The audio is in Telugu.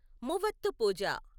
మువత్తుపూజ